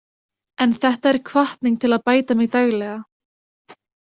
En þetta er hvatning til að bæta mig daglega.